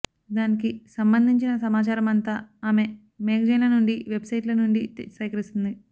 దానికి సంబంధించిన సమాచారమంతా ఆమె మేగజైన్ల నుండి వెబ్ సైట్ల నుండి సేకరిస్తుంది